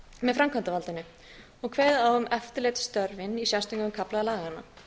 með framkvæmdarvaldinu og kveðið á um eftirlitsstörfin í sérstökum kafla laganna